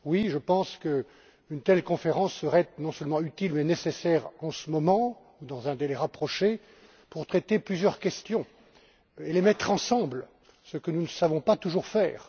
Oui, je pense qu'une telle conférence serait non seulement utile mais nécessaire en ce moment, dans un délai rapproché, pour traiter plusieurs questions et les mettre ensemble, ce que nous ne savons pas toujours faire.